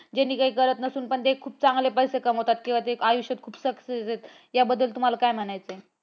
जेणे काय करत नसून पण ते खूप चांगले पैसे कमावतात किंवा ते आयुष्यात खूप success आहेत याबद्दल तुम्हाला काय म्हणायचय.